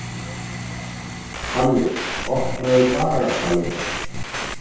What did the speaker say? Palli, opnaðu dagatalið mitt.